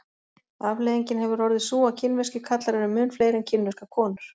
afleiðingin hefur orðið sú að kínverskir karlar eru mun fleiri en kínverskar konur